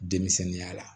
Denmisɛnninya la